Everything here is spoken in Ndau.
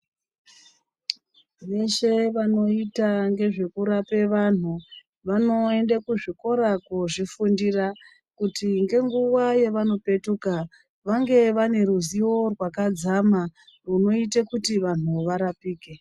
Veshe vanoita ngezvekurape vanhu, vanoende kuzvikora koozvifundira, kuti ngenguva yevanopetuka, vange vane ruzivo rwakadzama ,rwunoite kuti vanhu varapike.